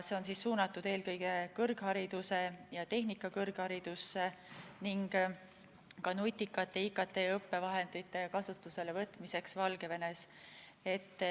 See on suunatud eelkõige kõrgharidusse ja tehnikakõrgharidusse ning ka nutikate IKT-õppevahendite kasutusele võtmiseks Valgevenes.